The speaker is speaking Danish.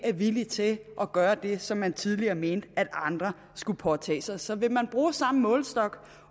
er villig til at gøre det som man tidligere mente at andre skulle påtage sig så vil man bruge samme målestok